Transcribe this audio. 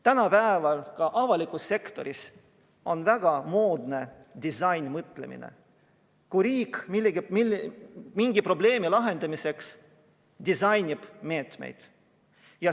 Tänapäeval on ka avalikus sektoris väga moes disainmõtlemine: riik mingi probleemi lahendamiseks disainib meetmeid.